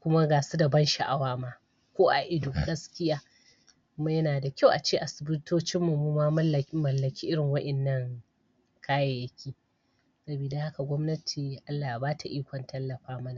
kuma gasuda ban sha'awa ma ko a ido gaskiya kuma yanada kyau ace asibitocinmu muma mun mal mallaki irin wayanna kayaiyaki sabida haka gobnati Allah ya bata ikon tallafa mana